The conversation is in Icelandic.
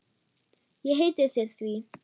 Ég heiti þér því.